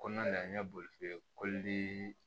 Kɔnɔna na an ye boli